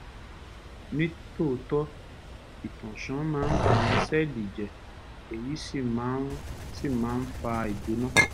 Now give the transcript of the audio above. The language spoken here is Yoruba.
ní tòótọ́ ìtànṣán máa ń ba àwọn sẹ́ẹ̀lì jẹ́ èyí sì máa ń sì máa ń fa ìgbóná